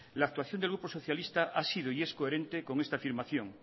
la actuación del grupo socialista ha sido y es coherente con esta afirmación